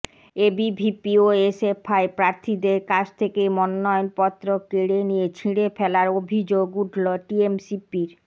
ABVP ও SFI প্রার্থীদের কাছ থেকে মনোনয়নপত্র কেড়ে নিয়ে ছিঁড়ে ফেলার অভিযোগ উঠল টিএমসিপির